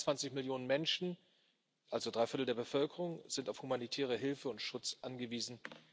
Mehr als 22 Millionen Menschen, also drei Viertel der Bevölkerung, sind auf humanitäre Hilfe und Schutz angewiesen.